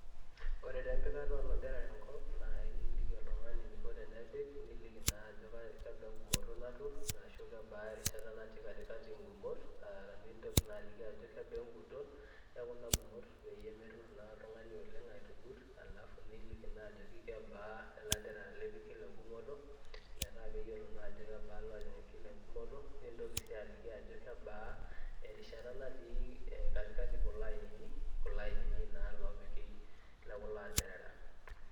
Ore taa empikata olanteerera enkop naa iliki oltung'ani eniko tenepik niliki naajo kebaa engumoto naturr, ashuu kebaa erishata natii katikati ngumot [aa] nintoki naaliki ajo kebaa enguton ekuna gumot peyie meturr naa oltung'ani oleng' aitugut alafu niliki naa ajoki kebaa ilanteerera lipik kila engumoto metaa keyiolo naajo kebaa loojing kila engumoto nintoki sii aliki ajo kebaa erishata natii katikati kuloainini, kuloainini naa loopiki lekulo anteerera.